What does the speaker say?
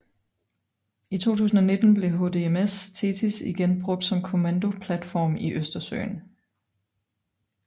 I 2019 blev HDMS THETIS igen brugt som kommandoplatform i Østersøen